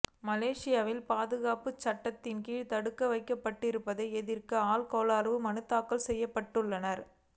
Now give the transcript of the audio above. மலேசியாவின் பாதுகாப்புச் சட்டங்களின்கீழ் தடுத்து வைக்கப்பட்டிருப்பதை எதிர்க்க ஆள் கொணர்வு மனுக்கள் தாக்கல் செய்யப்பட்டுள்ளன